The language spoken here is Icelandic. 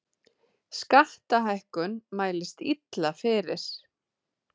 Skattahækkun mælist illa fyrir